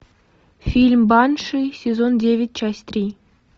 фильм банши сезон девять часть три